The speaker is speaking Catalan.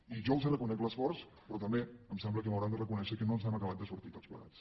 i jo els reconec l’esforç però també em sembla que m’hauran de reconèixer que no ens n’hem acabat de sortir tots plegats